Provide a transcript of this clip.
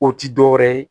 O ti dɔwɛrɛ ye